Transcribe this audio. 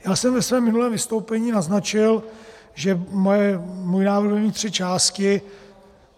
Já jsem ve svém minulém vystoupení naznačil, že můj návrh bude mít tři části.